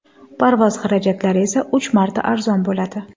Parvoz xarajatlari esa uch marta arzon bo‘ladi.